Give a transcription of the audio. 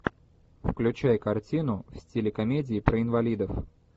включай картину в стиле комедии про инвалидов